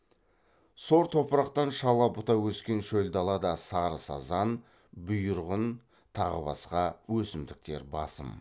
сор топырақты шала бұта өскен шөл далада сарысазан бұйырғын тағы басқа өсімдіктер басым